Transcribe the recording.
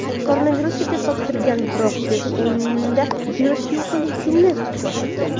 Koronavirusga test topshirgan, biroq test unda virus yo‘qligini ko‘rsatgan.